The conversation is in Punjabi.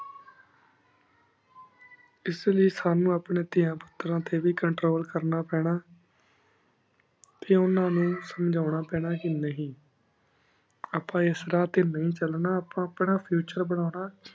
ਇਸ ਲੈ ਸਾਨੂ ਅਪਨ੍ਯਨ ਤੇਯਾਂ ਪੁਤਾਂ ਟੀ ਵੀ control ਕਰਨਾ ਪਾਨਾ ਟੀ ਉਨਾ ਨੂ ਸੁਮ੍ਜੁਨਾ ਪਾਨਾ ਕੀ ਨਹੀ ਅਪਾ ਇਸ ਰਾਹ ਟੀ ਨੀ ਚਲਨਾ ਅਪਾ ਆਪਣਾ future ਬੰਵ੍ਨਾ